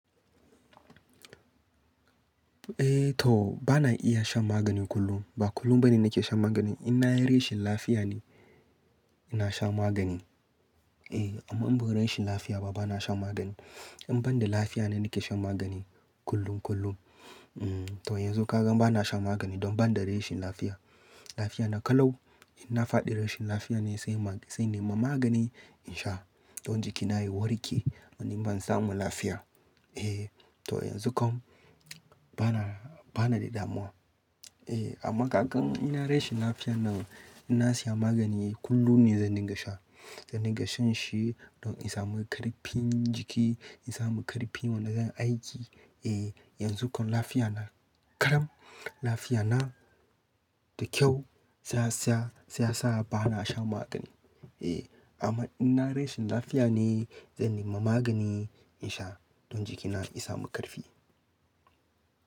Eh to bana iya shan magani kullum. Ba kullum bane nake shan magani. In na yi rashin lafiya ne, ina shan magani. Eh amma in ba rashin lafiya ba bana sha magani. In ban da lafiya ne nake shan magani kullum kullum. Mm to yanzu ka gan bana sha magani don ban da rashin lafiya. Lafiya na kalau. In na faɗi rashin lafiya ne sai ma-- sai na nima magani in sha don jikina ya warke. Wani in ban samu lafiya. Eh to yanzu kam bana, bana da damuwa. Eh amma kagan in na yi rashin lafiya nan, ina siya magani kullum ne zan dinga sha. Zan dinga shan shi don in samu ƙarfin jiki, in samu ƙarfin wanda zanyi aiki. Eh yanzu kam lafiya na ƙalau Lafiya na da kyau. Sai ya sa bana shan magani. Eh amma in na yi rashin lafiya ne, zan nima magani in sha don jikina ya samu ƙarfi.